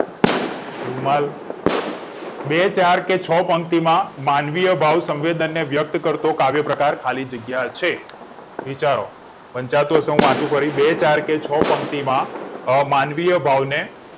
રૂમા બે ચાર કે છ પંક્તિમાં માનવીય બાહુ સવેદન ને વ્યક્ત કરતો કાવ્ય પ્રકાર ખાલી જગ્યા છે વિચારો વંચાતું હશે કે વાંચું ફરી બે ચાર કે છ પંક્તિમાં અમાનવીય ભાવને